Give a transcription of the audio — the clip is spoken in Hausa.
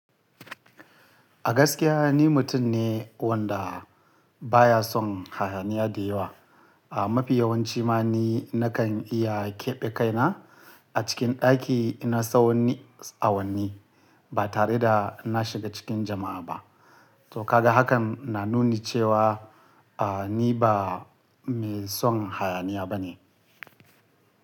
A gaskiya ni mutum ne wanda baya son hayaniya da yawa. A mafi yawanci ma ni nakan iya keɓe kaina a cikin ɗaki ina tsawani awanni ba tare da na shiga cikin jama'a ba. To ka ga hakan na nuni cewa, a ni ba mai son hayaniya bane.